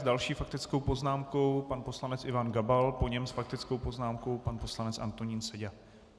S další faktickou poznámkou pan poslanec Ivan Gabal, po něm s faktickou poznámkou pan poslanec Antonín Seďa.